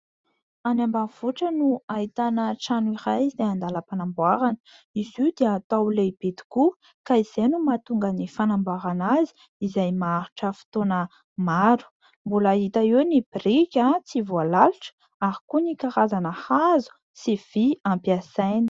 Any ambanivohitra no ahitana trano iray izay andalam-panamboarana. Izy io dia atao lehibe tokoa ka izay no mahatonga ny fanamboarana azy izay maharitra fotoana maro ; mbola hita eo ny biriky tsy voalalitra ary koa ny karazana hazo sy vy ampiasaina.